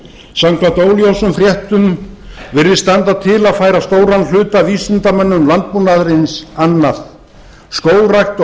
samkvæmt óljósum fréttum virðist standa til að færa stóran hluta af vísindamönnum landbúnaðarins annað skógrækt og